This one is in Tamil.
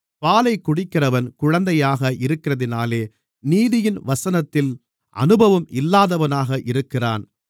பாலைக் குடிக்கிறவன் குழந்தையாக இருக்கிறதினாலே நீதியின் வசனத்தில் அனுபவம் இல்லாதவனாக இருக்கிறான்